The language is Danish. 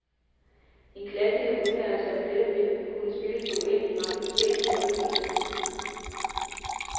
En klassiker udmærker sig jo netop ved at kunne spilles på uendeligt mange forskellige måder, mener han.